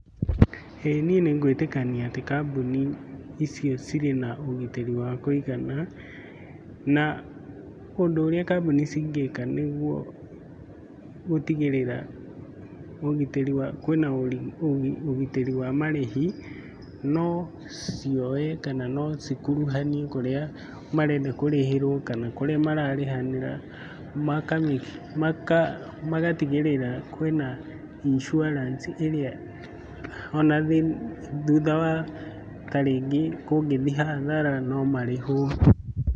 Ĩĩ niĩ nĩ ngũĩtĩkania atĩ kambuni ĩcio cirĩ na ũgitĩri wa kũigana. Na ũndũ ũrĩa kambuni cingĩka nĩguo gũtigĩrĩra kwĩna ũgitari wa marĩhi no cioe kana no cikuruhanio kũrĩa marenda kũrĩhĩrwo kana kũrĩa mararĩhanĩra magatigĩrĩra kwĩna insurance ĩrĩa ona thutha wa ta rĩngĩ kũngĩthiĩ hathara no marĩhwo.